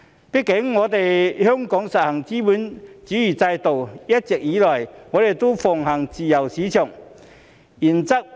畢竟香港實行資本主義制度，一直以來奉行自由市場原則。